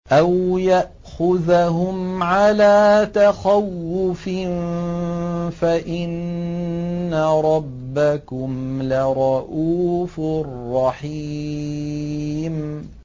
أَوْ يَأْخُذَهُمْ عَلَىٰ تَخَوُّفٍ فَإِنَّ رَبَّكُمْ لَرَءُوفٌ رَّحِيمٌ